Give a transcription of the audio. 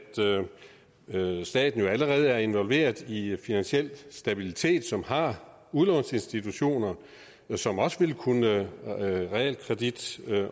staten som jo allerede er involveret i finansiel stabilitet som har udlånsinstitutioner som også vil kunne realkredit